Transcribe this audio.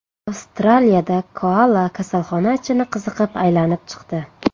Avstraliyada koala kasalxona ichini qiziqib aylanib chiqdi.